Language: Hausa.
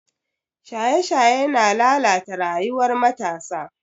Shaye-shaye yana lalata rayuwar matasa.